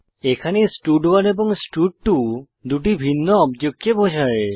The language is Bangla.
এখানে স্টাড1 এবং স্টাড2 দুটি ভিন্ন অবজেক্টকে বোঝায়